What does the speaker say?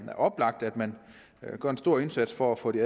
oplagt at man gør en stor indsats for at få de